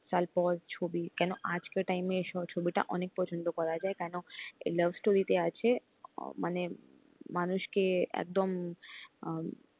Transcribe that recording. তারপর ছবি কেন আজকের time এসব ছবিটা অনেক পছন্দ করা যায় কেন এই love story তে আছে মানে মানুষকে একদম,